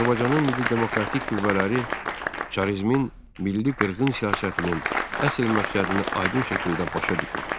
Azərbaycanın milli demokratik qüvvələri çarizmin milli qırğın siyasətinin əsl məqsədini aydın şəkildə başa düşür.